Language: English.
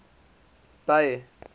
bay